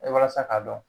Walasa k'a dɔn